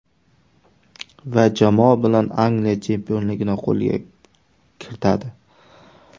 Va jamoa bilan Angliya chempionligini qo‘lga kiritadi.